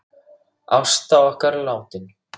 Ásta okkar er látin.